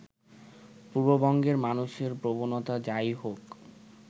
পূর্ববঙ্গের মানুষের প্রবণতা যাই হোক